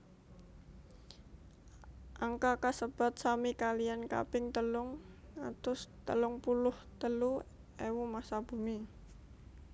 Angka kasebat sami kaliyan kaping telung atus telung puluh telu ewu massa bumi